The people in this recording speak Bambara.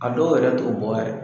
A dɔw yɛrɛ t'o bɔ yɛrɛ.